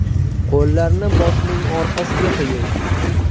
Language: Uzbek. Qo‘llarni boshning orqasiga qo‘ying.